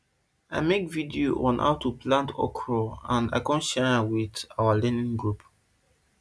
i make video on how to plant okro and i con share am with our learning group